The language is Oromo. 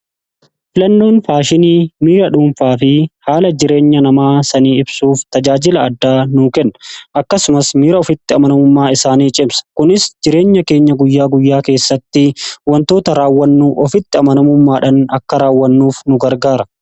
Filannoon faashinii miira dhuunfaa fi haala jireenya namaa sanii ibsuuf tajaajila addaa nu kenna akkasumas miira ofitti amanamummaa isaanii cimsa kunis jireenya keenya guyyaa guyyaa keessatti wantoota raawwannuu ofitti amanamummaadhan akka raawwannuuf nu gargaara.